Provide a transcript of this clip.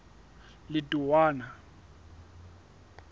letowana